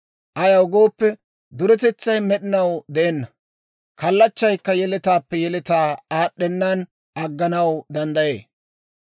Ayaw gooppe, duretetsay med'inaw de'enna; kallachchaykka yeletaappe yeletaw aad'd'ennan agganaw danddayee.